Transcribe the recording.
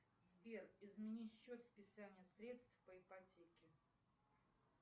сбер измени счет списания средств по ипотеке